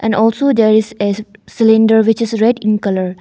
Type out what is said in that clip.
And also there is a cylinder which is red in colour.